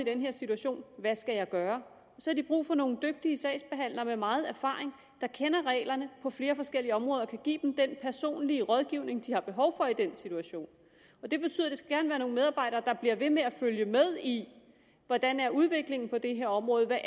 i den her situation hvad skal jeg gøre og så har de brug for nogle dygtige sagsbehandlere med meget erfaring der kender reglerne på flere forskellige områder og kan give dem den personlige rådgivning de har behov for i den situation det betyder det skal være nogle medarbejdere der bliver ved med at følge med i hvordan udviklingen er på det her område hvad